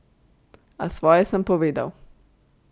A svoje sem povedal.